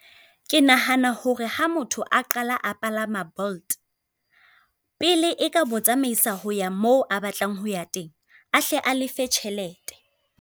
Ke nahana hore ha motho a qala a palama Bolt, pele e ka mo tsamaisa ho ya mo a batlang ho ya teng a hle a lefe tjhelete.